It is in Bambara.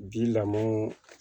Ji lamɔ